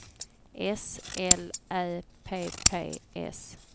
S L Ä P P S